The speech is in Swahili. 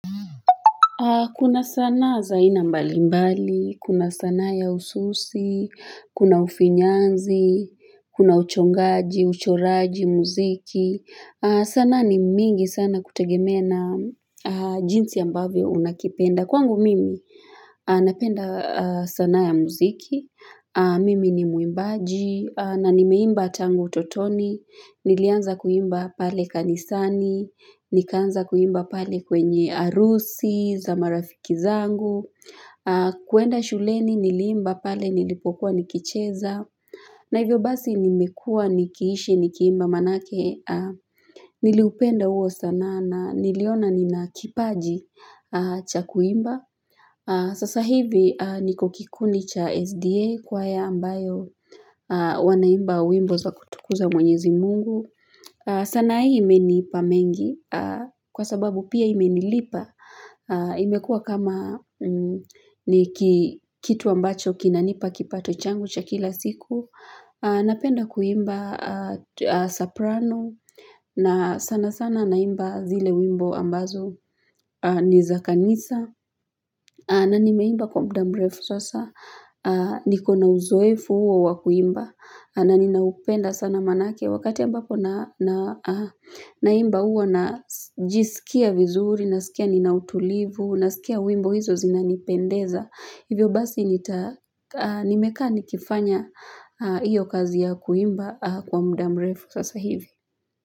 Kuna sanaa za ina mbali mbali, kuna sanaa ya ususi, kuna ufinyanzi, kuna uchongaji, uchoraji, muziki. Sanaa ni mingi sana kutegemea na jinsi ambavyo unakipenda. Kwangu mimi napenda sanaa ya muziki, mimi ni mwimbaji, na nimeimba tangu utotoni, nilianza kuimba pale kanisani, nikaanza kuimba pale kwenye harusi za marafiki zangu kuenda shuleni niliimba pale nilipokuwa nikicheza na hivyo basi nimekuwa nikiishi nikiimba maanake niliupenda huo sanaa na niliona ninakipaji cha kuimba sasa hivi niko kikundi cha SDA kwaya ambayo wanaimba wimbo za kutukuza mwenyezi mungu sanaa hii imenipa mengi, kwa sababu pia imenilipa, imekuwa kama ni kitu ambacho kinanipa kipato changu cha kila siku, napenda kuimba soprano na sana sana naimba zile wimbo ambazo ni za kanisa. Na nimeimba kwa muda mrefu sasa niko na uzoefu huo wa kuimba Naninaupenda sana maanake Wakati ambapo na Naimba huwa najisikia vizuri nasikia ninautulivu nasikia wimbo hizo zinanipendeza Hivyo basi nita nimekaa nikifanya hiyo kazi ya kuimba Kwa muda mrefu sasa hivi.